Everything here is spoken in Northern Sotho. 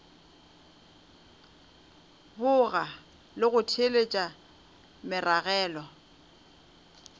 boga le go theeletša meragelo